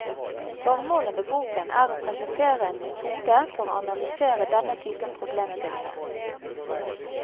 Formålet med boken er å presentere en metode for å analysere denne typen problemstillinger.